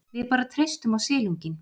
Við bara treystum á silunginn.